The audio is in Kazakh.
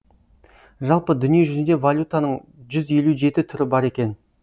жалпы дүниежүзінде валютаның жүз елу жеті түрі бар екен